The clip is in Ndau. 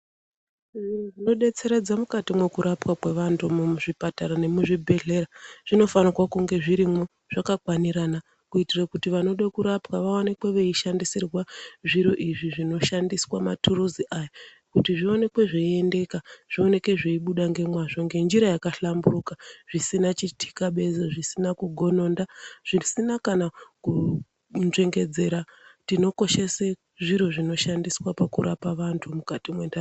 Zviro zvinobetseredza mukati mekurapa keantu muzvipatara nemuzvibhedhlera zvinofanirwa kunge zvirimwo zvakakwanirana. Kuitira kuti vanode kurapwa vaonekwe veishandisirwa zviro izvi zvinoshandiswa matiruzi aya. Kuti zvioneke zveiendeka zvioneke zveibuda ngemazvo ngenjira yakahlamburuka zvisina chitikabezo zvisina kugononda zvisina kana kunzvengedzera. Tinokoshese zviro zvinoshandiswa pakurapa vantu mukati mentaraunda.